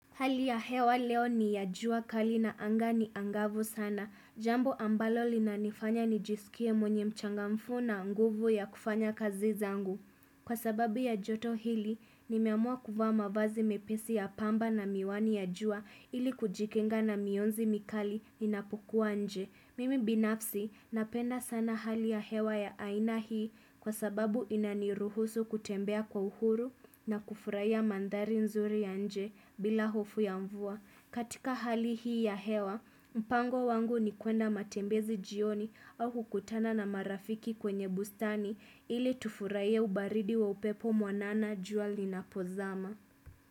Hali ya hewa leo ni ya jua kali na anga ni angavu sana. Jambo ambalo linanifanya nijisikie mwenye uchangamfu na nguvu ya kufanya kazi zangu. Kwa sababu ya joto hili, nimeamua kuvaa mavazi mepesi ya pamba na miwani ya jua ili kujikinga na mionzi mikali ninapukuwa nje. Mimi binafsi, napenda sana hali ya hewa ya aina hii kwa sababu inaniruhusu kutembea kwa uhuru na kufurahia mandhari nzuri ya nje bila hofu ya mvua. Katika hali hii ya hewa, mpango wangu ni kwenda matembezi jioni au kukutana na marafiki kwenye bustani ili tufurahie ubaridi wa upepo mwanana jua linapozama.